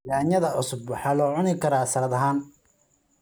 Yaanyada cusub waxaa loo cuni karaa salad ahaan.